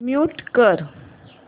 mute कर